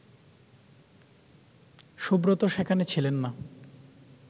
সুব্রত সেখানে ছিলেন না